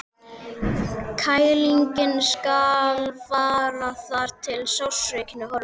Kælingin skal vara þar til sársaukinn er horfinn.